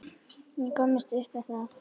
Og komist upp með það.